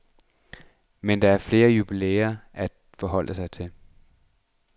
Men der er flere jubilæer at forholde sig til.